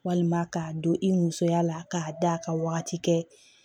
Walima k'a don i musoya la k'a da ka wagati kɛ